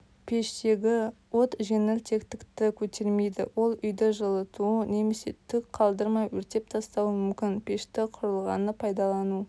пештегі от жеңілтектікті көтермейді ол үйді жылытуы немесе түк қалтырмай өртеп тастауы мүмкін пешті құрылғыны пайдалану